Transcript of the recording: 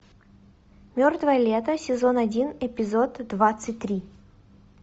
мертвое лето сезон один эпизод двадцать три